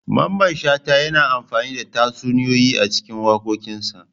Mamman shata yana amfani da tatsuniyoyi a cikin wakokinsa.